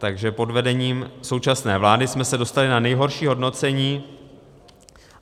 Takže pod vedením současné vlády jsme se dostali na nejhorší hodnocení.